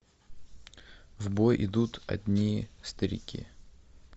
в бой идут одни старики